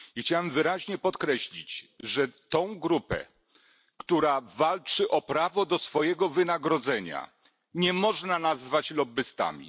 Chciałbym wyraźnie podkreślić, że tej grupy, która walczy o prawo do swojego wynagrodzenia, nie można nazwać lobbystami.